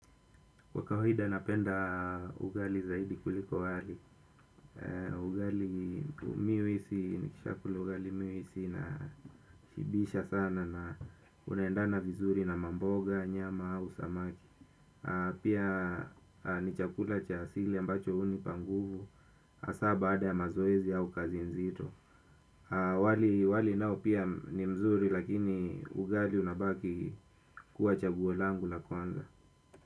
Kwa kawaida napenda ugali zaidi kuliko wali. Ugali nikishakula ugali mi uisi inashibisha sana na unaendana vizuri na mamboga, nyama, ua samaki. Pia ni chakula cha asili ambacho unipa nguvu, asaa baada ya mazoezi au kazi nzito. Wali nao pia ni mzuri lakini ugali unabaki kuwa chaguo langu la kwanza.